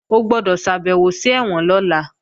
O gbọ́dọ̀ ṣàbèwò sí ẹ̀wọ̀n lọ́la!